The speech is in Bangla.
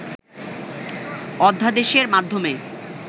অধ্যাদেশের মাধ্যমে